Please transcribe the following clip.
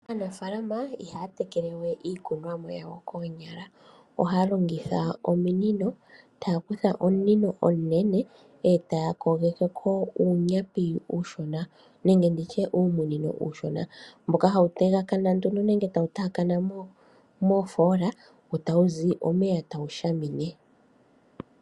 Aanafaalama ihaya tekelewe iikunwamo yawo koonyala ohaya longitha ominino taya kutha omunino omunene etaa kogekeko uumunino uushona mboka hayu tegakana nee moofoola wo tawu zi omeya tawu shamine.